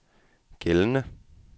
gældende